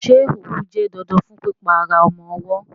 Ṣé òwú jẹ́ dandan fún pípa ara ọmọ ọwọ́?